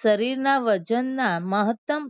શરીરના વજનના મહત્તમ